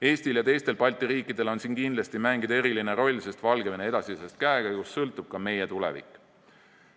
Eestil ja teistel Balti riikidel on siin kindlasti mängida eriline roll, sest Valgevene edasisest käekäigust sõltub ka meie tulevik.